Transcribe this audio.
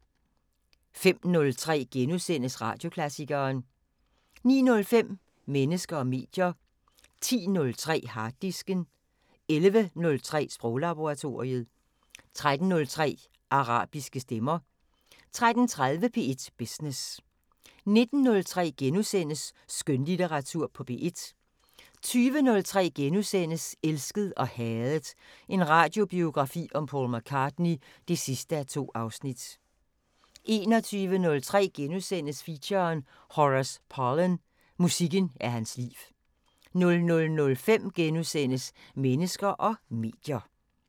05:03: Radioklassikeren * 09:05: Mennesker og medier 10:03: Harddisken 11:03: Sproglaboratoriet 13:03: Arabiske stemmer 13:30: P1 Business 19:03: Skønlitteratur på P1 * 20:03: Elsket og hadet – en radiobiografi om Paul McCartney (2:2)* 21:03: Feature: Horace Parlan – musikken er hans liv * 00:05: Mennesker og medier *